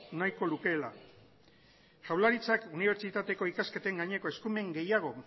nahiko lukeela jaurlaritzak unibertsitateko ikasketen gaineko eskumen gehiago